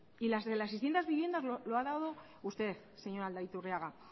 y las de las seiscientos viviendas lo ha duda usted señor aldaiturriaga